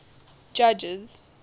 judges